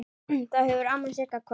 Þá hefur amma Sigga kvatt.